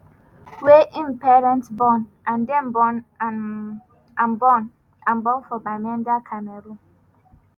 wey im parent born and dem born am born am for bamenda cameroon.